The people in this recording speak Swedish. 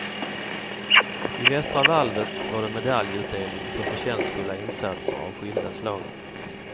I västra valvet var det medaljutdelning för förtjänstfulla insatser av skilda slag.